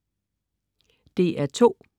DR2: